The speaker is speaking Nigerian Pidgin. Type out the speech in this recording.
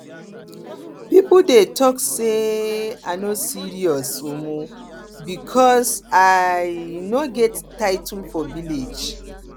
people dey talk say um i no serious um because i um no get title for village